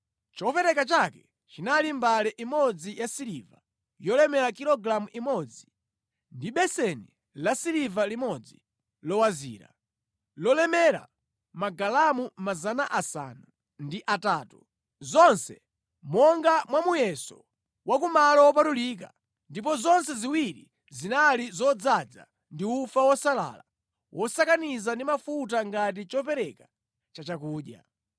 Chopereka chake chinali mbale imodzi yasiliva yolemera kilogalamu imodzi, ndi beseni lasiliva limodzi lowazira, lolemera magalamu 800, zonse monga mwa muyeso wa ku malo wopatulika ndipo zonse ziwiri zinali zodzaza ndi ufa wosalala wosakaniza ndi mafuta ngati chopereka chachakudya;